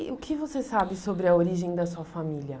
E o que você sabe sobre a origem da sua família?